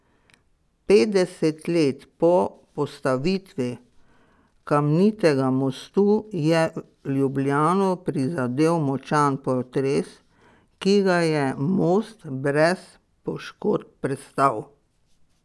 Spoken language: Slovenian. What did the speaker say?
Petdeset let po postavitvi kamnitega mostu je Ljubljano prizadel močan potres, ki ga je most brez poškodb prestal.